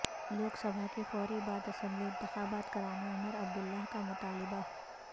لوک سبھا کے فوری بعد اسمبلی انتخابات کرانے عمرعبداللہ کا مطالبہ